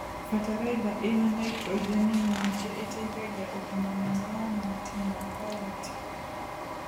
Bataraitha ĩna naitorogeni nyingĩ ĩteithagia ũgima mwega wa mahuti makarati.